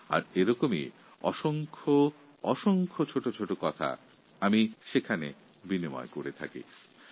এই অ্যাপএর মাধ্যমে অনেক ছোটো ছোটো কথা আমি ভাগ করে চলেছি